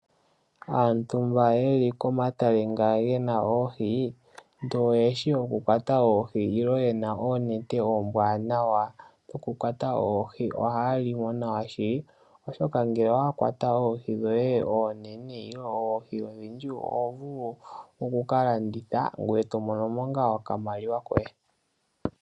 Aantu mba yeli komatale nga gena oohi ndele oyeshi okukwata oohi, nenge yena oonete oombwanawa okukwata oohi ohaa li mo nawa shili. Oshoka ngele owa kwata oohi dhoye oonene nenge oohi odhindji oho vulu okukalanditha, ngoye to mono mo ngaa okamaliwa koye.